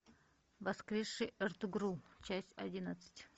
воскресший эртугрул часть одиннадцать